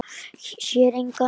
Sér engan.